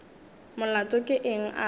molato ke eng a re